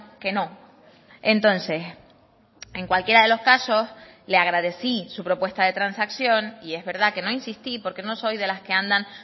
que no entonces en cualquiera de los casos le agradecí su propuesta de transacción y es verdad que no insistí porque no soy de las que andan